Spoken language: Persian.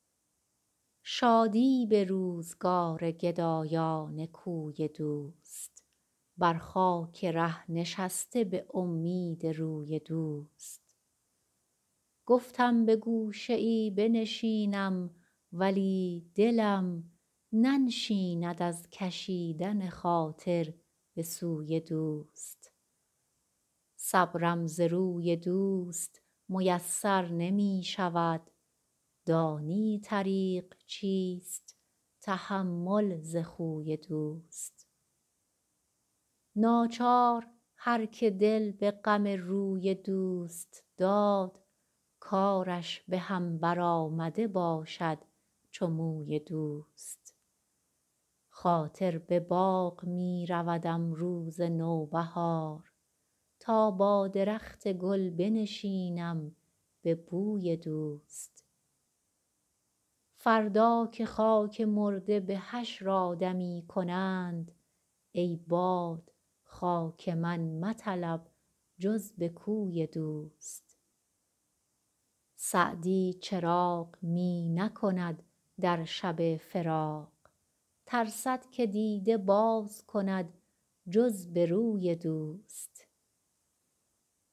شادی به روزگار گدایان کوی دوست بر خاک ره نشسته به امید روی دوست گفتم به گوشه ای بنشینم ولی دلم ننشیند از کشیدن خاطر به سوی دوست صبرم ز روی دوست میسر نمی شود دانی طریق چیست تحمل ز خوی دوست ناچار هر که دل به غم روی دوست داد کارش به هم برآمده باشد چو موی دوست خاطر به باغ می رودم روز نوبهار تا با درخت گل بنشینم به بوی دوست فردا که خاک مرده به حشر آدمی کنند ای باد خاک من مطلب جز به کوی دوست سعدی چراغ می نکند در شب فراق ترسد که دیده باز کند جز به روی دوست